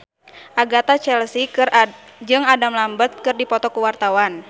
Agatha Chelsea jeung Adam Lambert keur dipoto ku wartawan